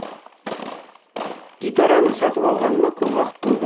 гитараны сатып алғаныма көп уақыт болды